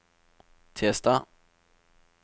tirsdag